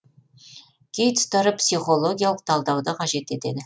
кей тұстары психологиялық талдауды қажет етеді